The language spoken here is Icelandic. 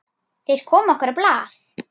Þeir komu okkur á blað.